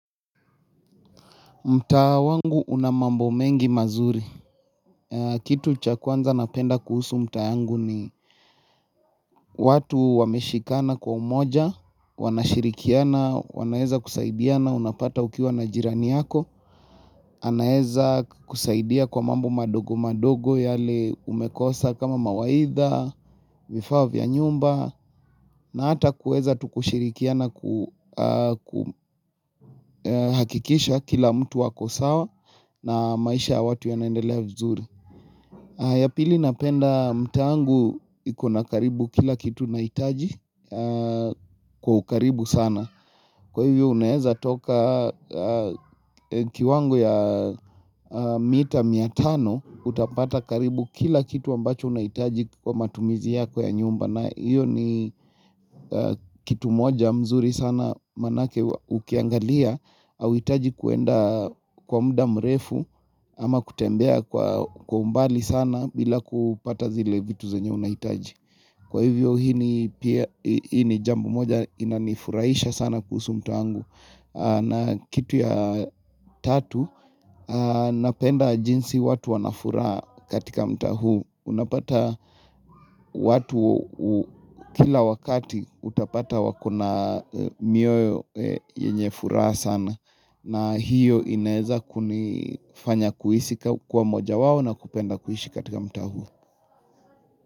Mtaa wangu una mambo mengi mazuri. Kitu cha kwanza napenda kuhusu mta yangu ni watu wameshikana kwa umoja, wana shirikiana, wanaeza kusaidiana unapata ukiwa na jirani yako. Anaeza kusaidia kwa mambo madogo madogo yale umekosa kama mawaidha, vifaa vya nyumba na hata kueza tu kushirikiana kuhakikisha kila mtu ako sawa na maisha ya watu yanaendelea vizuri ya pili napenda mtaa wangu ikona karibu kila kitu nahitaji kwa ukaribu sana Kwa hivyo uneza toka kiwango ya mita mia tano utapata karibu kila kitu ambacho unahitaji kwa matumizi yako ya nyumba na iyo ni kitu moja mzuri sana manake ukiangalia hauhitaji kwenda kwa mda mrefu ama kutembea kwa umbali sana bila kupata zile vitu zenye unahitaji. Kwa hivyo hii ni jambo moja inanifurahisha sana kuhusu mtaa wangu na kitu ya tatu napenda jinsi watu wanafuraha katika mtaa huu Unapata watu kila wakati utapata wakona mioyo yenye furaha sana na hiyo inaweza kunifanya kuhisi kuwa moja wao na kupenda kuishi katika mtaa huu.